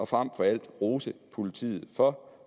frem for alt rose politiet for